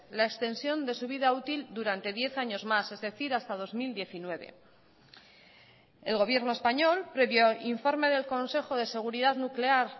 la extensión de su vida útil durante diez años más es decir hasta dos mil diecinueve el gobierno español previo informe del consejo de seguridad nuclear